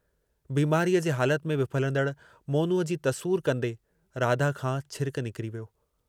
बीमारीअ जे हालत में विफलंदड़ मोनूअ जी तसूर कंदे राधा खां छिरकु निकिरी वियो।